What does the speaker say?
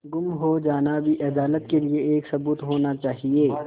गुम हो जाना भी अदालत के लिये एक सबूत होना चाहिए